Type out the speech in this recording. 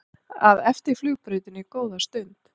að eftir flugbrautinni góða stund.